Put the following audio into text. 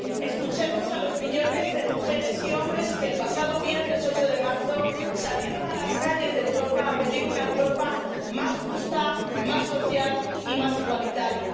Escuchemos a los millones de mujeres y hombres que el pasado viernes 8 de marzo salieron a las calles de Europa para pedir una Europa más justa, más social y más igualitaria